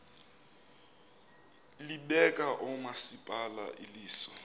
libeka oomasipala iliso